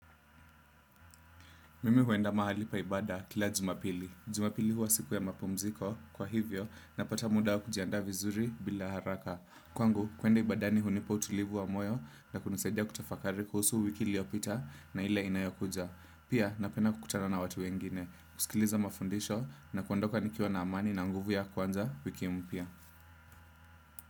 Mimi huenda mahali pa ibada kila jumapili. Jumapili huwa siku ya mapumziko kwa hivyo napata muda kujiandaa vizuri bila haraka. Kwangu, kwenda ibadani hunipa utulivu wa moyo na kunisadia kutafakari kuhusu wiki liopita na ile inayokuja. Pia, napenda kukutana na watu wengine, kusikiliza mafundisho na kuandoka nikiwa na amani na nguvu ya kuanza wiki mpia.